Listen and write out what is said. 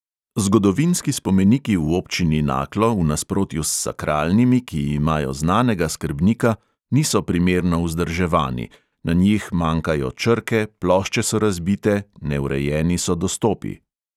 Zgodovinski spomeniki v občini naklo v nasprotju s sakralnimi, ki imajo znanega skrbnika, niso primerno vzdrževani – na njih manjkajo črke, plošče so razbite, neurejeni so dostopi.